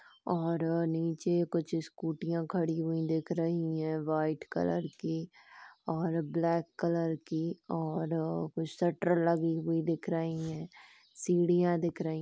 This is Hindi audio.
और नीचे कुछ स्कूटियां खड़ी हुई दिख रही है व्हाइट कलर की और ब्लैक कलर की और कुछ शटर लगे हुए दिख रहे है सीढ़ियाँ दिख रही है ।